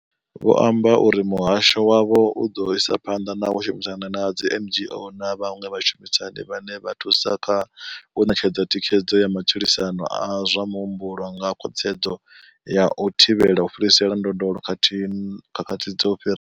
Vho amba uri muhasho wavho u ḓo isa phanḓa na u shumisana na dzi NGO na vhaṅwe vhashumisani vhane vha thusa kha u ṋetshedza thikhedzo ya matshilisano a zwa muhumbulo nga khwaṱhisedzo ya u thivhela u fhirisa ndondolo ya khakhathi.